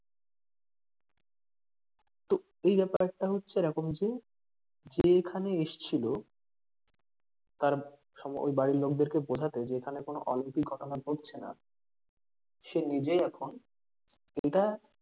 তো এই ব্যাপারটা হচ্ছে এরকম যে যে এখানে এসছিল তার ঐ বাড়ির লোকজনকে বোঝাতে যে ওখানে কোন অলৌকিক ঘটনা ঘটছেনা সে নিজেই এখন যেটা